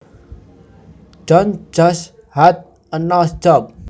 John just had a nose job